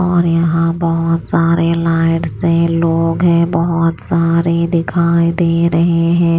और यहां बहुत सारे लाइट से लोग है बहुत सारे दिखाई दे रहे हैं।